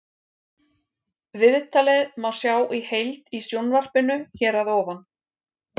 Viðtalið má sjá í heild í sjónvarpinu hér að ofan.